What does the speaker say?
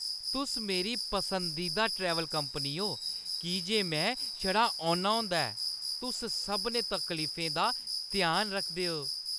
तुस मेरी पसंदीदा ट्रैवल कंपनी ओ की जे में छड़ा औना होंदा ऐ। तुस सभनें तफसीलें दा ध्यान रखदे ओ।